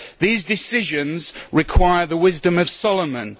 These decisions require the wisdom of Solomon.